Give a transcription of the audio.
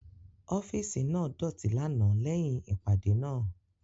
Ọfiisi naa doti lana lẹhin ipade naa